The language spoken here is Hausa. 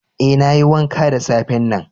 Eh, na yi wanka da safe'n nan.